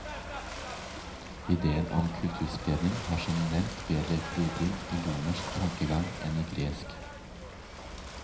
Ideen om kulturspredning har som nevnt bedre grobunn i romersk tankegang enn i gresk.